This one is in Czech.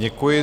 Děkuji.